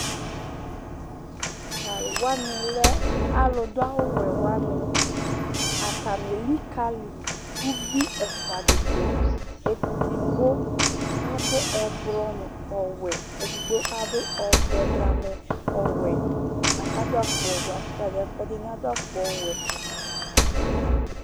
Talʋwani lɛ alʋdʋ awʋwɛ wani atani elikali ʋvi ɛfʋa didʋ Edigbo adʋ ɛblɔ nʋ ɔwɛ, edigbo adʋ ɔvɛ blamɛ nʋ ɔwɛ lakʋ ɛdini adʋ afʋkpa ɔwɛ